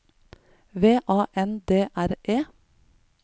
V A N D R E